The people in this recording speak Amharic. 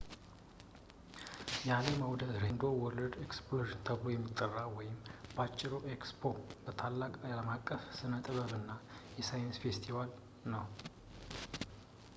የአለም አውደ ራዕይ በተለምዶ world exposition ተብሎ የሚጠራው ወይም በአጭሩ ኤክስፖ ታላቅ አለምአቀፍ የስነጥበብ እና ሳይንስ ፌስቲቫል ነው